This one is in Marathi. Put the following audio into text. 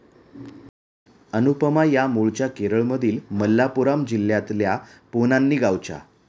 अनुपमा या मूळच्या केरळमधील मल्लापुराम जिल्ह्यातल्या पोन्नानी गावच्या.